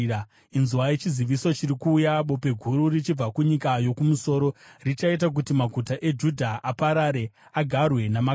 Inzwai! Chiziviso chiri kuuya, bope guru richabva kunyika yokumusoro! Richaita kuti maguta eJudha aparare, agarwe namakava.